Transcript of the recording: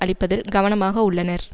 அளிப்பதில் கவனமாக உள்ளனர்